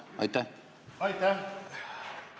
Aitäh!